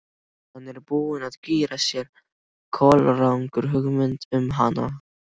Hann er búinn að gera sér kolrangar hugmyndir um hana.